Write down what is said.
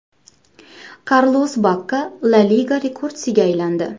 Karlos Bakka La Liga rekordchisiga aylandi.